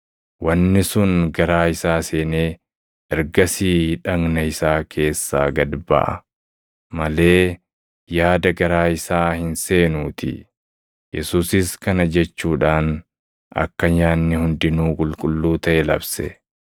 Wanni sun garaa isaa seenee ergasii dhagna isaa keessaa gad baʼa malee yaada garaa + 7:19 Akka hubannaa Yihuudootaatti yaadni garaa eenyummaa nama tokkoo guutummaatti argisiisa. isaa hin seenuutii.” Yesuusis kana jechuudhaan akka nyaanni hundinuu qulqulluu taʼe labse.